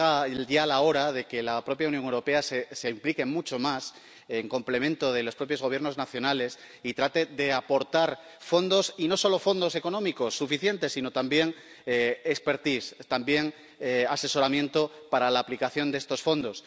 Es ya hora de que la propia Unión Europea se implique mucho más, en complemento de los propios Gobiernos nacionales, y trate de aportar fondos, y no solo fondos económicos suficientes, sino también expertise también asesoramiento para la aplicación de estos fondos.